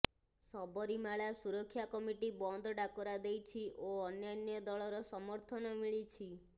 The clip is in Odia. ସବରୀମାଳା ସୁରକ୍ଷା କମିଟି ବନ୍ଦ ଡାକରା ଦେଇଛି ଓ ଅନ୍ୟ ଦଳର ସମର୍ଥନ ମିଳିଛି